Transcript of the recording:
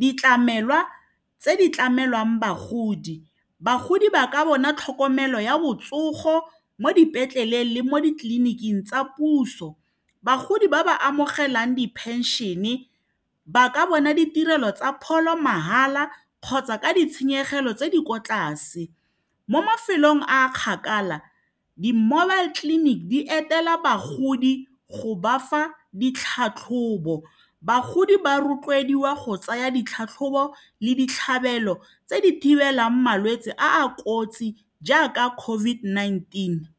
ditlamelwa tse di tlamelwang bagodi, bagodi ba ka bona tlhokomelo ya botsogo mo dipetleleng le mo ditleliniking tsa puso, bagodi ba ba amogelang di-pension-e ba ka bona ditirelo tsa pholo mahala kgotsa ka ditshenyegelo tse di kwa tlase mo mafelong a kgakala di-mobile clinic di etela bagodi go ba fa ditlhatlhobo bagodi ba rotloediwa go tsaya ditlhatlhobo le ditlhabelo tse di thibelang malwetse a a kotsi jaaka COVID-19.